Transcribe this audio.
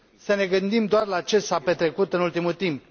Să ne gândim doar la ce s a petrecut în ultimul timp.